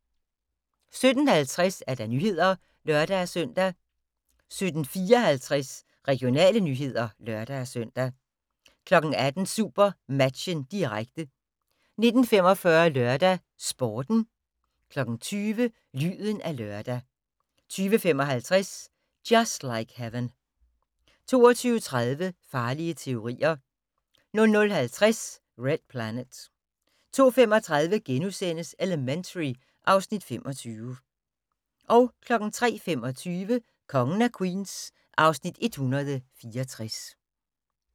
17:50: Nyhederne (lør-søn) 17:54: Regionale nyheder (lør-søn) 18:00: SuperMatchen, direkte 19:45: LørdagsSporten 20:00: Lyden af lørdag 20:55: Just Like Heaven 22:30: Farlige teorier 00:50: Red Planet 02:35: Elementary (Afs. 25)* 03:25: Kongen af Queens (Afs. 164)